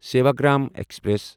Sevagram express